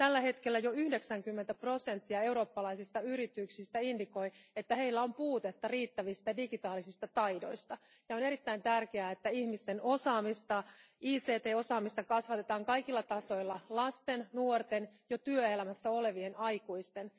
Tällä hetkellä jo 90 prosenttia eurooppalaisista yrityksistä ilmoittaa, että heillä on puutetta riittävistä digitaalisista taidoista, ja on erittäin tärkeää, että ihmisten ICT osaamista kasvatetaan kaikilla tasoilla lasten, nuorten ja jo työelämässä olevien aikuisten.